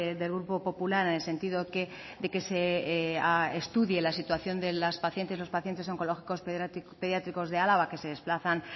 del grupo popular en el sentido de que se estudie la situación de las pacientes y los pacientes oncológicos pediátricos de álava que se desplazan